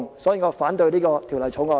所以，我反對這項《條例草案》。